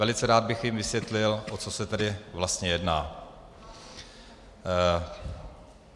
Velice rád bych jim vysvětlil, o co se tedy vlastně jedná.